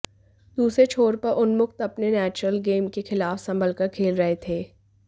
दूसरे छोर पर उन्मुक्त अपने नेचरल गेम के खिलाफ संभलकर खेल रहे थे